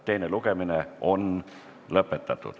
Teine lugemine on lõpetatud.